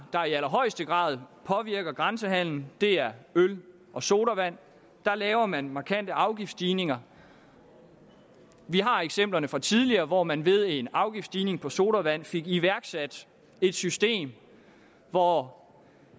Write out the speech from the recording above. der i allerhøjeste grad påvirker grænsehandelen er øl og sodavand der laver man markante afgiftsstigninger vi har eksempler fra tidligere hvor man ved en afgiftsstigning på sodavand fik iværksat et system hvor